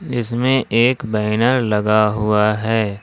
इसमें एक बैनर लगा हुआ है।